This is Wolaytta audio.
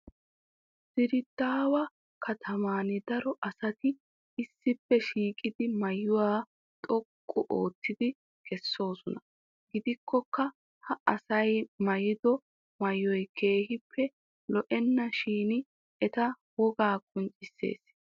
diredaawa kataman daro asati issippe shiiqidi maayuwa xoqqu oottidi kaa'oosona. gidikkokka ha asay maayiddo maayoy kaaehi loenna shin eta wogaa qinccissees.